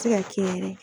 Se ka kɛ yɛrɛ